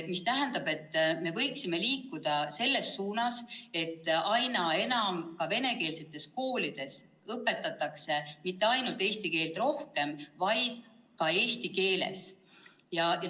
See tähendab, et me võiksime liikuda selles suunas, et aina enam ka venekeelsetes koolides õpetataks mitte ainult eesti keelt rohkem, vaid ka eesti keeles rohkem.